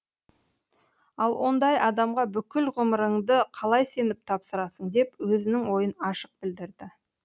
ал ондай адамға бүкіл ғұмырыңды қалай сеніп тапсырасың деп өзінің ойын ашық білдірді